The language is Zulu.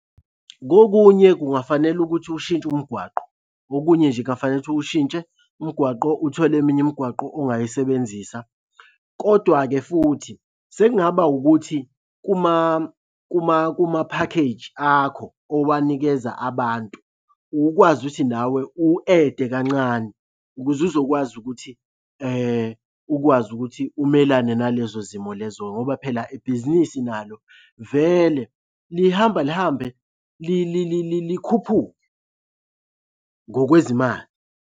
Kokunye kungafanele ukuthi ushintshe umgwaqo, okunye nje kungafanele uwushintshe umgwaqo uthole eminye imigwaqo ongayisebenzisa, kodwa-ke futhi sekungaba ukuthi kumaphakheji akho owanikeza abantu, ukwazi ukuthi nawe u-add-e kancane ukuze uzokwazi ukuthi ukwazi ukuthi umelane nalezo zimo lezo ngoba phela ibhizinisi nalo vele lihamba lihambe likhuphuke ngokwezimali.